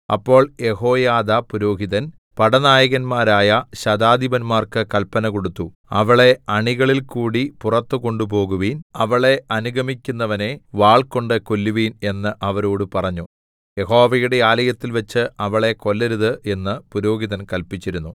അപ്പോൾ യെഹോയാദാ പുരോഹിതൻ പടനായകന്മാരായ ശതാധിപന്മാർക്ക് കല്പന കൊടുത്തു അവളെ അണികളിൽകൂടി പുറത്ത് കൊണ്ടുപോകുവിൻ അവളെ അനുഗമിക്കുന്നവനെ വാൾകൊണ്ട് കൊല്ലുവിൻ എന്ന് അവരോട് പറഞ്ഞു യഹോവയുടെ ആലയത്തിൽവച്ച് അവളെ കൊല്ലരുത് എന്ന് പുരോഹിതൻ കല്പിച്ചിരുന്നു